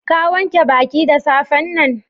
Ka wanke baki da safe'n nan?